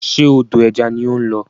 Ṣe odò ẹja ni ó ń lọ?